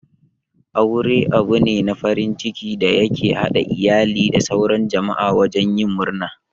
Aure abune na farin ciki da ya ke haɗa iyali da sauran jama'a wajen yin murna.